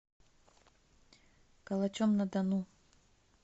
калачом на дону